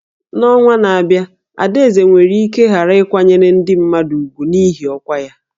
N'ọnwa na-abịa, Adaeze nwere ike ghara ịkwanyere ndị mmadụ ùgwù n'ihi ọkwa ya